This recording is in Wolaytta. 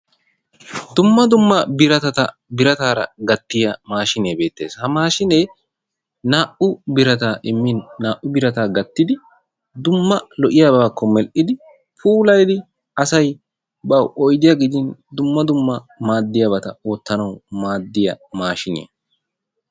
dumma dumma biratata birataara gattiya maashinee beettees. ha mashinee naa''u birataa immin naa''u birataa gattidi dumma lo''iyaabakko mell''idi puulayyidi asay baw oyddiya gidin dumma dumma maaddiyaabata oottanaw maaddiyaa maashiniyaa.